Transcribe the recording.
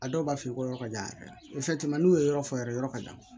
A dɔw b'a f'i ye ko yɔrɔ ka jan yɛrɛ n'u ye yɔrɔ fɔ yɛrɛ yɔrɔ ka jan